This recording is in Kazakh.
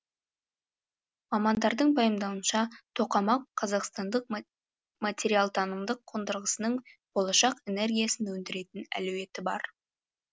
мамандардың пайымдауынша тоқамақ қазақстандық материалтанымдық қондырғысының болашақ энергиясын өндіретін әлеуеті бар